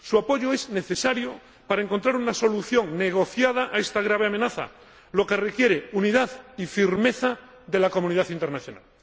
Su apoyo es necesario para encontrar una solución negociada a esta grave amenaza, lo que requiere unidad y firmeza por parte de la comunidad internacional.